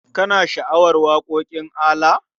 Kana sha'awar waƙoƙin ALA?